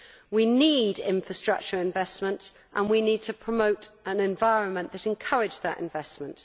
We need infrastructure investment, and we need to promote an environment that encourages that investment.